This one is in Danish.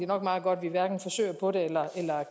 nok meget godt at vi hverken forsøger på det eller